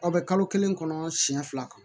Aw bɛ kalo kelen kɔnɔ siɲɛ fila kan